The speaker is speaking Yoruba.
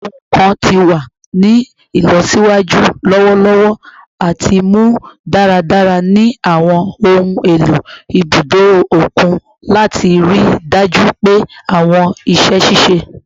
Awọn ohun kan ti wa ni ilọsiwaju lọwọlọwọ ati mu daradara ni awọn ohun elo ibudo okun lati rii daju pe awọn iṣẹ ṣiṣe